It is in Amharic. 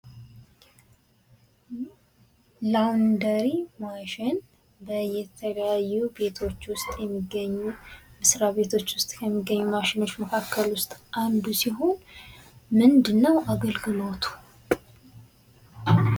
ላውንደሪ ማሽን በተለያዩ ቤቶች ውስጥ የሚገኙ መስሪያ ቤቶች ውስጥ የሚገኙ ማሸኖች መካከል ውስጥ አንዱ ሲሆን ምንድነው አገልግሎቱ?